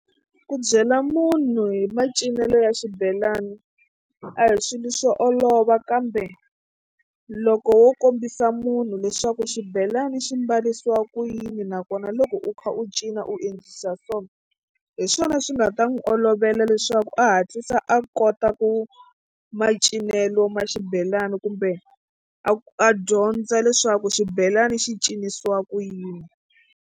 Ku byela munhu hi macinelo ya xibelani a hi swilo swo olova kambe loko wo kombisa munhu leswaku xibelani xi mbarisiwa ku yini nakona loko u kha u cina u endlisa so hi swona swi nga ta n'wi olovela leswaku a hatlisa a kota ku macinelo ma xibelani kumbe a a dyondza leswaku xibelani xi cinisiwa ku yini.